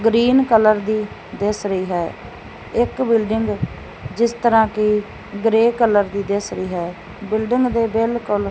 green colour ਦੀ ਦਿੱਸ ਰਹੀ ਹੈ ਇੱਕ ਬਿਲਡਿੰਗ ਜਿਸ ਤਰ੍ਹਾਂ ਕੀ ਗ੍ਰੇ ਕਲਰ ਦੀ ਦਿੱਸ ਰਹੀ ਹੈ ਬਿਲਡਿੰਗ ਦੇ ਬਿਲਕੁਲ --